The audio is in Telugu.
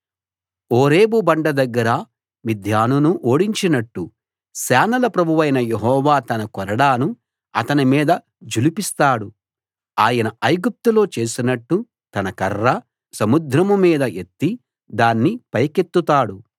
ఓరేబు బండ దగ్గర మిద్యానును ఓడించినట్టు సేనల ప్రభువైన యెహోవా తన కొరడాను అతని మీద ఝుళిపిస్తాడు ఆయన ఐగుప్తులో చేసినట్టు తన కర్ర సముద్రం మీద ఎత్తి దాన్ని పైకెత్తుతాడు